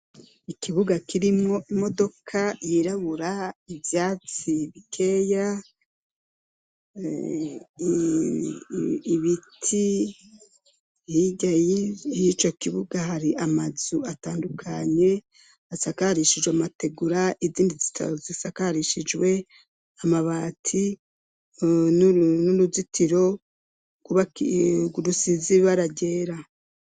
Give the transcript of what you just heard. Ikibuga kirimwo imodoka yirabura, ivyatsi bikeya, ibiti, hirya y'ico kibuga hari amazu atandukanye asakarishijwe amategura, izindi zikaba zisakarishijwe amabati n'uruzitiro rusize ibara ryera.